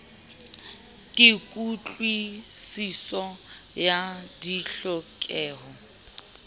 ke kutlwi siso ya ditlhokeho